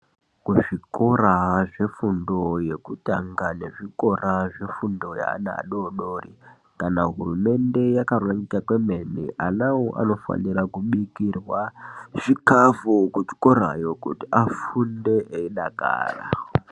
Kuzvikora zvefundo yekutanga nekuzvikora zveana adoodori kana hurumende yakarongeka kwemene vanavo vanofanire kubikirwa zvikafu kuzvikorayo kuti vafunde veidakara.